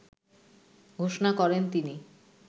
ঘোষণা করেন তিনি।